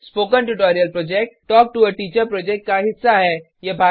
spoken tutorial project talk to a teacher project का हिस्सा है